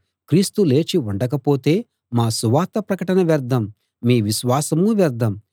క్రీస్తు లేచి ఉండకపోతే మా సువార్త ప్రకటనా వ్యర్థం మీ విశ్వాసమూ వ్యర్థం